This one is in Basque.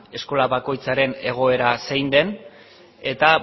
eskola bakoitzaren egoera zein den eta